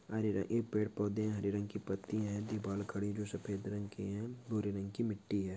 अरेरे ये पेड़ पौधे हरे रंग की पत्ती है दीवाल खडी जो सफ़ेद रंग की है भूरे रंग की मिट्टी है।